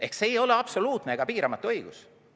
" Ehk see ei ole absoluutne ega piiramatu õigus.